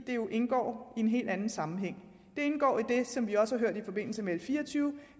jo indgår i en helt anden sammenhæng det indgår i det som vi også har hørt i forbindelse med l fire og tyve